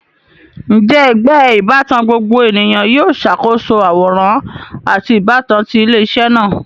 Njẹ ẹgbẹ ibatan gbogbo eniyan yoo ṣakoso aworan ati ibatan ti ile-iṣẹ naa?